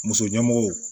Muso ɲɛmɔgɔw